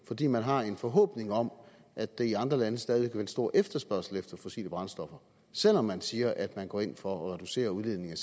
fordi man har en forhåbning om at der i andre lande stadig væk en stor efterspørgsel efter fossile brændstoffer selv om man siger at man går ind for at reducere udledningen